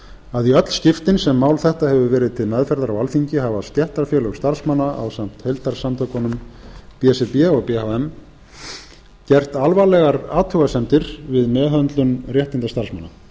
að í öll skiptin sem mál þetta hefur verið til meðferðar á alþingi hafa stéttarfélög starfsmanna ásamt heildarsamtökunum b s r b og b h m gert alvarlegar athugasemdir við meðhöndlun réttinda starfsmanna